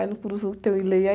Aí no tem o Ileiaê.